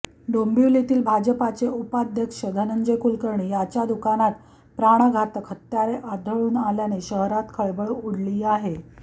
डोंबिवलीतील भाजपचे उपाध्यक्ष धंनजय कुलकर्णी याच्या दुकानात प्राणघातक हत्यारे आढळून आल्याने शहरात खळबळ उडाली आहे